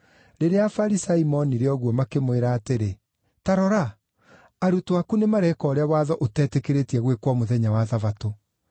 Rĩrĩa Afarisai moonire ũguo, makĩmwĩra atĩrĩ, “Ta rora! Arutwo aku nĩmareeka ũrĩa watho ũtetĩkĩrĩtie gwĩkwo mũthenya wa Thabatũ.”